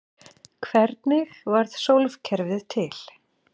Hvernig varð sólkerfið til?